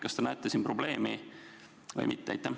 Kas te näete siin probleemi või mitte?